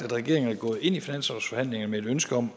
at regeringen er gået ind i finanslovsforhandlingerne med et ønske om